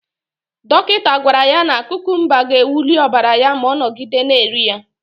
Dọkịta gwara ya na kukumba ga-ewuli ọbara ya ma ọ nọgide na-eri ya.